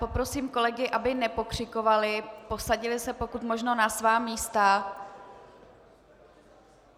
Poprosím kolegy, aby nepokřikovali, posadili se pokud možno na svá místa.